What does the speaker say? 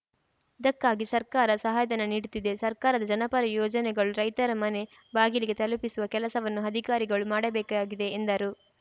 ಇದಕ್ಕಾಗಿ ಸರ್ಕಾರ ಸಹಾಯಧನ ನೀಡುತ್ತಿದೆ ಸರ್ಕಾರದ ಜನಪರ ಯೋಜನೆಗಳು ರೈತರ ಮನೆ ಬಾಗಿಲಿಗೆ ತಲುಪಿಸುವ ಕೆಲಸವನ್ನು ಅಧಿಕಾರಿಗಳು ಮಾಡಬೇಕಾಗಿದೆ ಎಂದರು